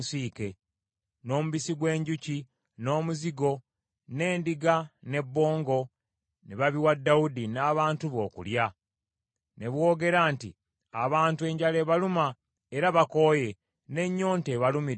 n’omubisi gw’enjuki, n’omuzigo, n’endiga, ne bbongo, ne babiwa Dawudi n’abantu be okulya. Ne boogera nti, “Abantu enjala ebaluma, era bakooye, n’ennyonta ebalumidde mu ddungu.”